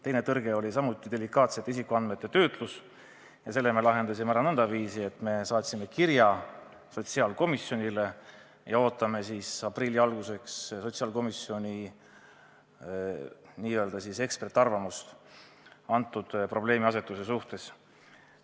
Teine tõrge oli delikaatsete isikuandmete töötlus ja selle me lahendasime ära nõndaviisi, et saatsime kirja sotsiaalkomisjonile ja ootame nüüd aprilli alguseks komisjoni n-ö eksperdiarvamust sellise probleemiasetuse suhtes.